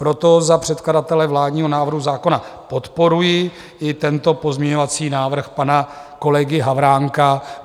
Proto za předkladatele vládního návrhu zákona podporuji i tento pozměňovací návrh pana kolegy Havránka.